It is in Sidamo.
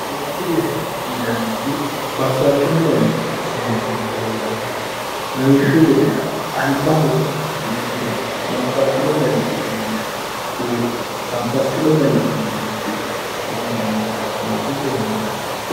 seensilleho yinannihu babbaxxino dani seensilli heeranno lawishshu gedera albaho riqqine babbaxxino dani uduunne woy Babbaxxino dani uduunne uddi'ne seensanni gara seensilleho yinanni